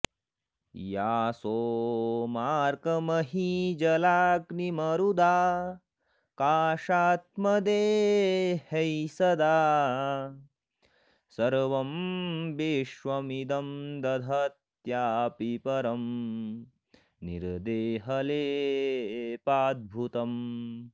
या सोमार्कमहीजलाग्निमरुदाकाशात्मदेहैः सदा सर्वं विश्वमिदं दधत्यापि परं निर्देहलेपाद्भुतम्